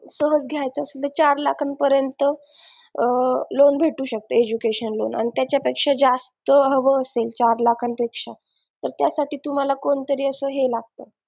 सहज घ्यायचा असेल तर चार लाखापर्यंत loan भेटू शकते एज्युकेशन लोन आणि त्याच्यापेक्षा जास्त हवे असेल लाखांपेक्षा तर जास्त त्यासाठी तुम्हाला कोणतरी हे लागतं